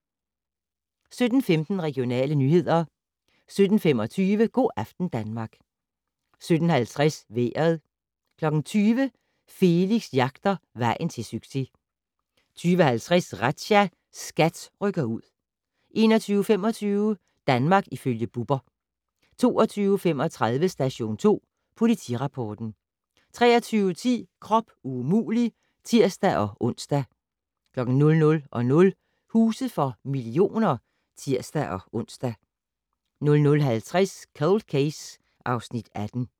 17:15: Regionale nyheder 17:25: Go' aften Danmark 17:50: Vejret 20:00: Felix jagter vejen til succes 20:50: Razzia - SKAT rykker ud 21:25: Danmark ifølge Bubber 22:35: Station 2 Politirapporten 23:10: Krop umulig! (tir-ons) 00:00: Huse for millioner (tir-ons) 00:50: Cold Case (Afs. 18)